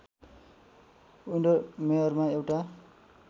विन्डरमेअरमा एउटा